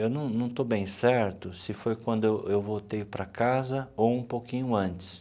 Eu não não estou bem certo se foi quando eu eu voltei para casa ou um pouquinho antes.